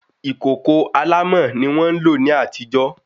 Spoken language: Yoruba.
Ìkòkò alámọ̀ ni wọ́n ń lò ní àtijó